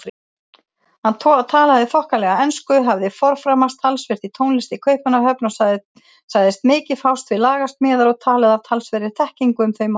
Hann talaði þokkalega ensku, hafði forframast talsvert í tónlist í Kaupmannahöfn og sagðist mikið fást við lagasmíðar og talaði af talsverðri þekkingu um þau mál.